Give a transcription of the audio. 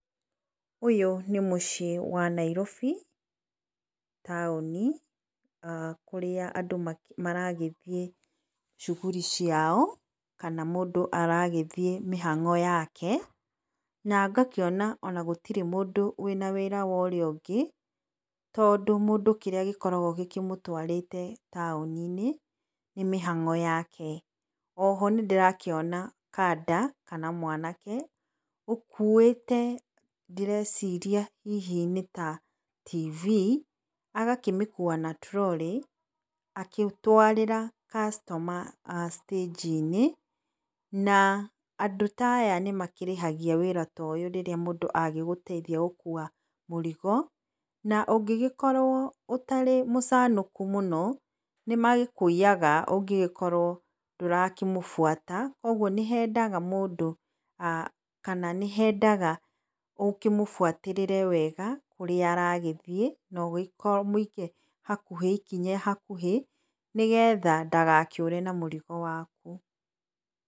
Ũyũ nĩ mũcĩi wa Nairobi taũni kũrĩa andũ maragĩthĩĩ cuguri ciao kana mũndũ aragĩthĩĩ mĩhang'o yake, na ngakĩona ona gũtĩrĩ mũndũ wina wĩra wa ũrĩa ũngĩ, tondũ mũndũ kĩrĩa gĩkoragwo gĩkĩmũtwarĩte taũni-inĩ nĩ mihang'o yake, o ho nĩndĩrakĩona kanda kana mwanake ũkũĩte ndĩreciria hihi nĩ ta TV, agakĩmĩkua na trolley agĩtwarĩra customer a stage -inĩ na andũ taya nĩmakĩrĩhagia wĩra ta ũyũ rĩrĩa mũndũ agĩgũteithia gũkua mũrigo, na ũngĩgĩkorwo ũtarĩ mũcanũku mũno nĩmagĩkũiyaga ũngĩgikorwo ndũrakĩmũbwata, koguo nĩhendaga mũndũ, kana nĩhendaga ũkĩmũbwatĩrĩre wega kũrĩa aragĩthĩĩ na ũmũige hakuhĩ, ikinya hakuhĩ, nĩgetha ndagakĩure na mũrigo waku.